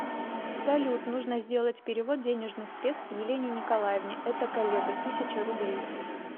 салют нужно сделать перевод денежных средств елене николаевне это коллега тысяча рублей